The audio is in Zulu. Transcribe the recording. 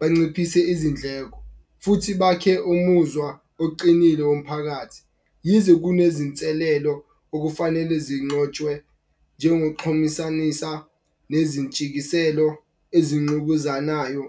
banciphise izindleko futhi bakhe umuzwa oqinile womphakathi. Yize kunezinselelo okufanele zinxotshwe njengo xhumisanisa nezintshikiselo ezinqubuzanayo